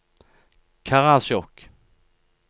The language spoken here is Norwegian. Karasjok